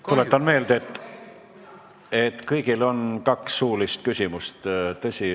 Tuletan meelde, et kõigil on võimalik esitada kaks suulist küsimust.